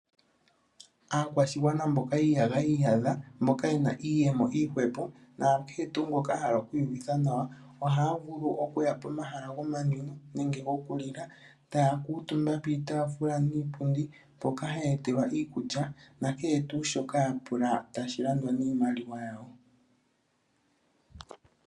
Aakwashigwana mboka yi iyadha iyadha, mboka yena iyemo iihwepo nakehe tu ngoka ahala oku iyuvitha nawa oha vulu okuya pomahala gomanwino nenge gokulila ta kutumba piitafula niipundi mpoka haya etelwa iikulya nakehe tushoka ya pula, tashi landwa niimaliwa yawo.